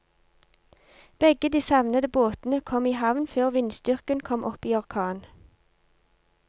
Begge de savnede båtene kom i havn før vindstyrken kom opp i orkan.